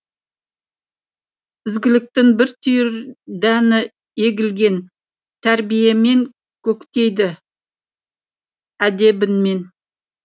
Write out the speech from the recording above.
ізгіліктің бір түйір дәні егілген тәрбиемен көктейді әдебіңмен